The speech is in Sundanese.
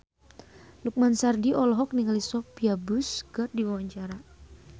Lukman Sardi olohok ningali Sophia Bush keur diwawancara